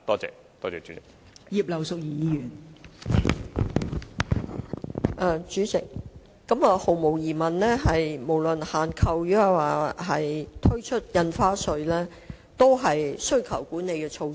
代理主席，毫無疑問，不論是限購，還是開徵新增印花稅，均屬需求管理措施。